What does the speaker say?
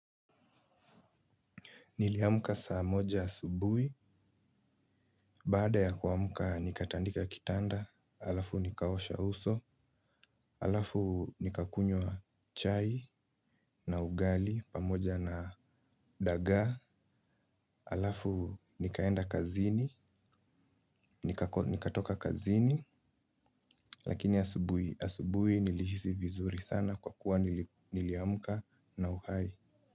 Niliamka saa moja asubui, baada ya kuamka nikatandika kitanda, alafu nikaosha uso, alafu nikakunywa chai na ugali pamoja na dagaa, alafu nikaenda kazini, nikatoka kazini, lakini asubui nilihisi vizuri sana kwa kuwa niliamka na uhai.